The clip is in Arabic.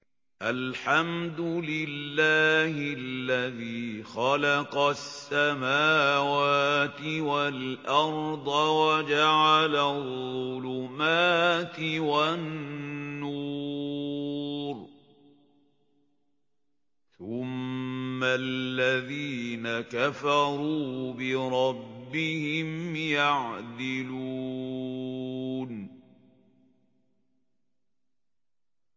الْحَمْدُ لِلَّهِ الَّذِي خَلَقَ السَّمَاوَاتِ وَالْأَرْضَ وَجَعَلَ الظُّلُمَاتِ وَالنُّورَ ۖ ثُمَّ الَّذِينَ كَفَرُوا بِرَبِّهِمْ يَعْدِلُونَ